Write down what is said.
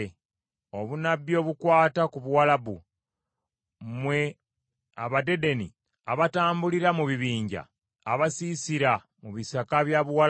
Obunnabbi obukwata ku Buwalabu: Mmwe Abadedeni abatambulira mu bibinja, abasiisira mu bisaka bya Buwalabu,